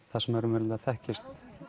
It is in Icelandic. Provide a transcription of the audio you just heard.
það sem raunverulega þekkist